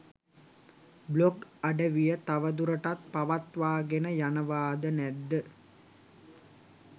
blog අඩවිය තවදුරටත් පවත්වාගෙන යනවාද නැද්ද